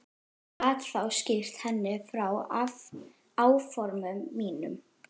Gat þá skýrt henni frá áformum mínum.